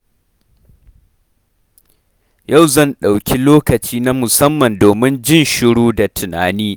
Yau zan ɗauki lokaci na musamman domin jin shiru da tunani.